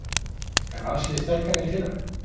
Er Valsliðið sterkara en í fyrra?